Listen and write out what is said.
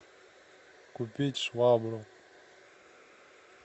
купить швабру